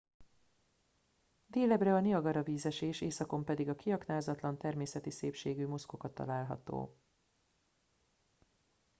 délebbre a niagara vízesés északon pedig a kiaknázatlan természeti szépségű muskoka található